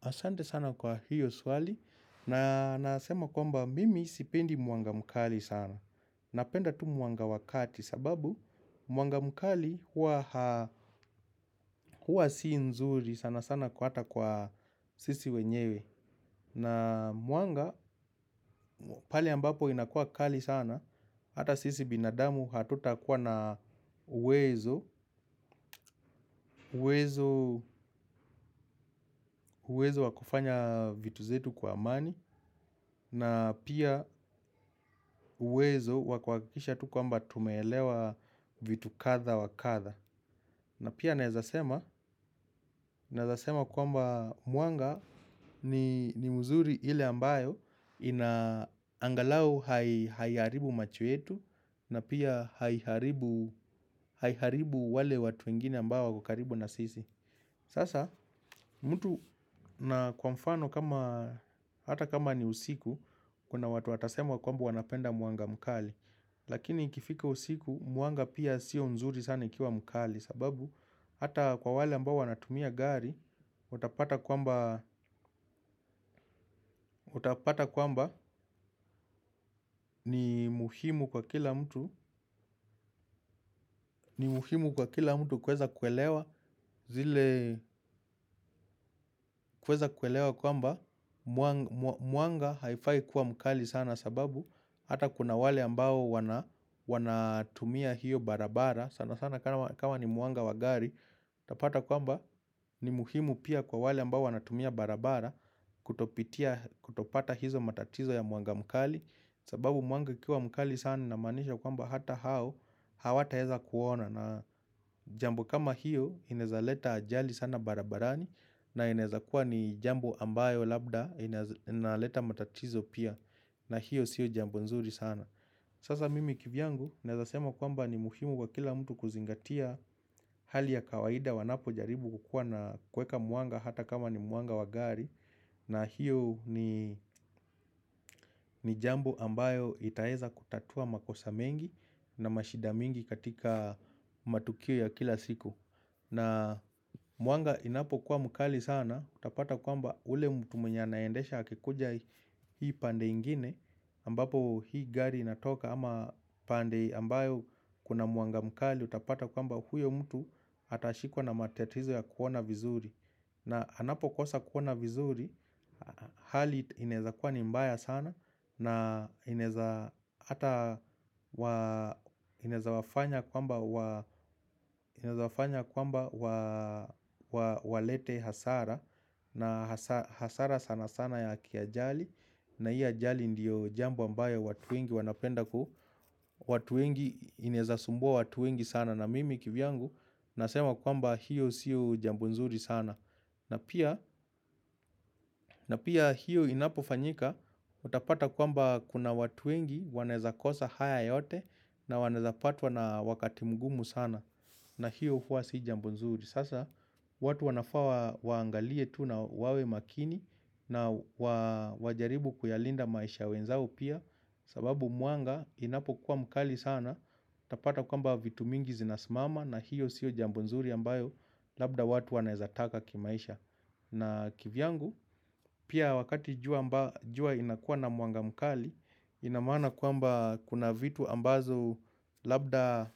Asante sana kwa hiyo swali na nasema kwamba mimi sipendi mwanga mkali sana. Napenda tu mwanga wakati sababu muanga mkali huwa si nzuri sana sana kwa hata kwa sisi wenyewe. Na mwanga, pali ambapo inakua kali sana, hata sisi binadamu hatuta kuwa na uwezo, uwezo wa kufanya vitu zetu kwa amani, na pia uwezo wakuakikisha tu kwamba tumeelewa vitu katha wa katha. Na pia naezasema kwamba mwanga ni mzuri hile ambayo ina angalau haiharibu macho yetu na pia haiharibu wale watu wengine ambayo kukaribu nasisi. Sasa, mtu na kwa mfano kama, hata kama ni usiku, kuna watu watasema kwamba wanapenda mwanga mkali. Lakini ikifika usiku, mwanga pia siyo nzuri sana ikiwa mkali. Sababu, hata kwa wale ambao wanatumia gari, utapata kwamba ni muhimu kwa kila mtu. Ni muhimu kwa kila mtu kuweza kwelewa, zile kuweza kwelewa kwamba mwanga haifai kuwa mkali sana sababu, hata kuna wale ambao wanatumia hiyo barabara sana sana kama ni mwanga wa gari. Tapata kwamba ni muhimu pia kwa wale ambao wanatumia barabara. Kutopata hizo matatizo ya mwanga mkali. Sababu mwanga ikiwa mkali sana ina maanisha kwamba hata hao hawataeza kuona na jambo kama hiyo. Inaezaleta ajali sana barabarani. Na inezakua ni jambo ambayo labda inezaleta matatizo pia. Na hiyo siyo jambo nzuri sana. Sasa mimi kivyangu naezasema kwamba ni muhimu kwa kila mtu kuzingatia. Hali ya kawaida wanapo jaribu kukua na kuweka mwanga hata kama ni mwanga wa gari. Na hiyo ni jambo ambayo itaweza kutatua makosa mengi na mashida mingi katika matukio ya kila siku. Na mwanga inapo kuwa mukali sana. Utapata kwamba ule mtu mwenye naendesha hakikuja hii pande ingine ambapo hii gari inatoka ama pande ambayo kuna mwanga mkali. Utapata kwamba huyo mtu atashikwa na matitizo ya kuona vizuri. Na anapo kosa kuona vizuri. Hali inaeza kuwa ni mbaya sana. Na inaeza wafanya kwamba walete hasara. Na hasara sana sana ya kiajali. Na hii ajali ndiyo jambu ambayo watu wengi wanapenda ku watu wengi inaezasumbua watu wengi sana na mimi kivyangu. Nasema kwamba hiyo siu jambo nzuri sana. Na pia hiyo inapo fanyika. Utapata kwamba kuna watu wengi wanaeza kosa haya yote. Na wanaeza patwa na wakati mgumu sana. Na hiyo huwa si jambo nzuri. Sasa watu wanafaa waangalie tu na wawe makini na wajaribu kuyalinda maisha ya wenzao pia. Sababu mwanga inapo kuwa mkali sana. Tapata kwamba vitu mingi zinasmama na hiyo siyo jambo nzuri ambayo labda watu wanaezataka kimaisha. Na kivyangu pia wakati jua inakuwa na mwanga mkali. Inamaana kwamba kuna vitu ambazo labda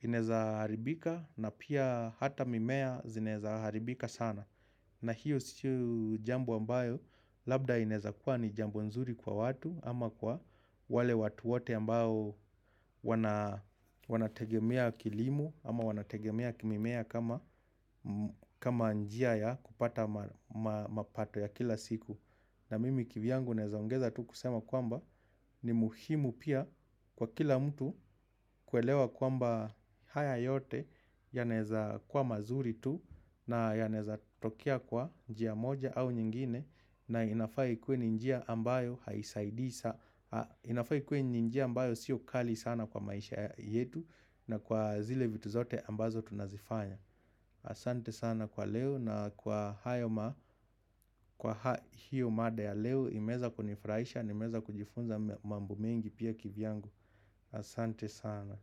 inaezaharibika. Na pia hata mimea zinaeza haribika sana. Na hiyo sio jambo ambayo labda inaeza kuwa ni jambo nzuri kwa watu. Ama kwa wale watu wote ambayo wanategemea kilimo ama wanategemea mimea kama njia ya kupata mapato ya kila siku. Na mimi kivyangu nezaongeza tu kusema kwamba ni muhimu pia kwa kila mtu kuelewa kwamba haya yote yanaeza kwa mazuri tu na yanaeza tokea kwa njia moja au nyingine na inafaa ikuwe ni njia ambayo haisaidisa inafaa ikuwe ni njia ambayo sio kali sana kwa maisha yetu na kwa zile vitu zote ambazo tunazifanya asante sana kwa leo na kwa hayo kwa hiyo mada ya leo imeweza kunifraisha, nimeweza kujifunza mambo mengi pia kivyangu asante sana.